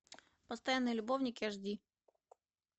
постоянные любовники аш ди